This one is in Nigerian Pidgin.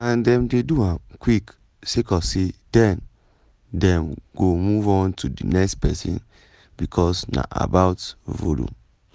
"and dem dey do am quick sake of say den dem go move on to di next pesin becos na about volume.”